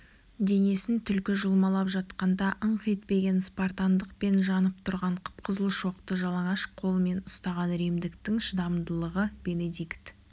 денесін түлкі жұлмалап жатқанда ыңқ етпеген спартандық пен жанып тұрған қып-қызыл шоқты жалаңаш қолымен ұстаған римдіктің шыдамдылығы бенедикт